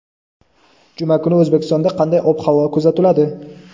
Juma kuni O‘zbekistonda qanday ob-havo kuzatiladi?.